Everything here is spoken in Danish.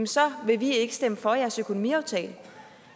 så vil vi ikke stemme for jeres økonomiaftale